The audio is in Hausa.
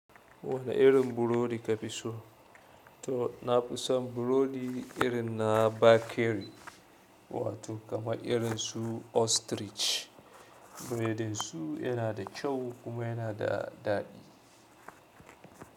Wane irin burodi ka fi so? To, na fi son burodi irin na bakery, wato kamar irin su Ostrich. Buredin su yana da kyau kuma yana da daɗi.